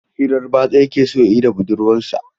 Hirar batsa yake so ya yi da budurwarsa.